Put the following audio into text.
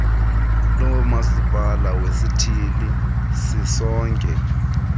lomasipala wesithili sisonke